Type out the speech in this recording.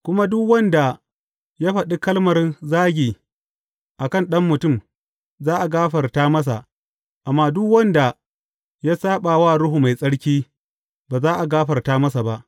Kuma duk wanda ya faɗi kalmar zagi a kan Ɗan Mutum, za a gafarta masa, amma duk wanda ya saɓa wa Ruhu Mai Tsarki, ba za a gafarta masa ba.